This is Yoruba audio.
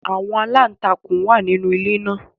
Àwọn aláǹtakùn wà nínú ilé náà